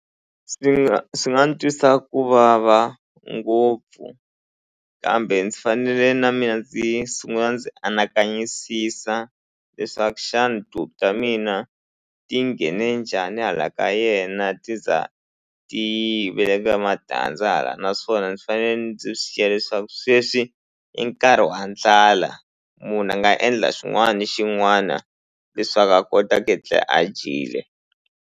Swi swi nga ni twisa ku vava ngopfu kambe ndzi fanele na mina ndzi sungula ndzi anakanyisisa leswaku xana tihuku ta mina ti nghene njhani hala ka yena ti za ti veka matandza hala naswona ndzi fanele ndzi swi xiya leswaku sweswi i nkarhi wa ndlala munhu a nga endla xin'wana na xin'wana leswaku a kota ku etlela a dyile.